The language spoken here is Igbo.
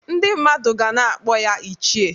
Ndị mmadụ ga na-akpọ ya "ichie"